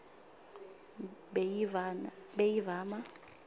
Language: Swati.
beyivama